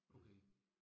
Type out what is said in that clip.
Okay